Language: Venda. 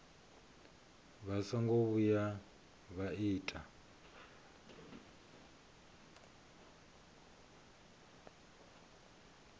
vha songo vhuya vha ita